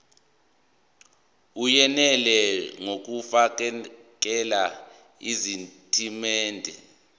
eyenele ngokufakela izitatimende